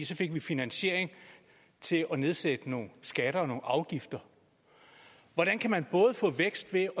så fik vi finansiering til at nedsætte nogle skatter og nogle afgifter hvordan kan man få vækst ved